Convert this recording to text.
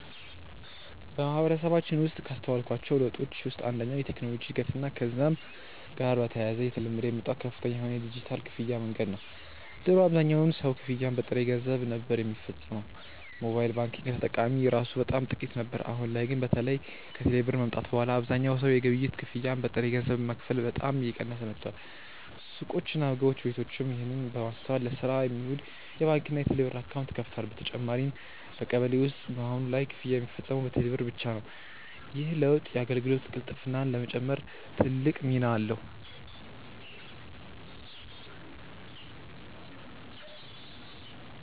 በማህበረሰባችን ውስጥ ካስተዋልኳቸው ለውጦች ውስጥ አንደኛው የቴክኖሎጂ እድገትና ከዛም ጋር በተያያዘ እየተለመደ የመጣው ከፍተኛ የሆነ የዲጂታል ክፍያ መንገድ ነው። ድሮ አብዛኛው ሰው ክፍያን በጥሬ ገንዘብ ነበር ሚፈጽመው፤ ሞባይል ባንኪንግ ተጠቃሚ እራሱ በጣም ጥቂት ነበር። አሁን ላይ ግን በተለይ ከቴሌ ብር መምጣት በኋላ አብዛኛው ሰው የግብይት ክፍያን በጥሬ ገንዘብ መክፈል በጣም እየቀነሰ መጥቷል። ሱቆችና ምግብ ቤቶችም ይህንን በማስተዋል ለስራ የሚውል የባንክና የቴሌብር አካውንት ከፍተዋል። በተጨማሪም በቀበሌ ውስጥ በአሁን ላይ ክፍያ ሚፈጸመው በቴሌ ብር ብቻ ነው። ይህ ለውጥ የአገልግሎት ቅልጥፍናን ለመጨመር ትልቅ ሚና አለው።